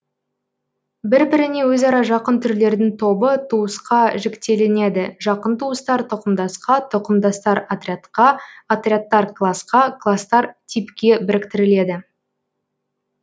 бір біріне өзара жақын түрлердің тобы туысқа жіктелінеді жақын туыстар тұқымдасқа тұқымдастар отрядқа отрядтар класқа кластар типке біріктіріледі